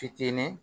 Fitinin